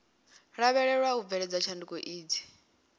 lavhelewa u bveledza tshanduko idzi